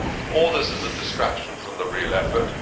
All this is a distraction from the real effort.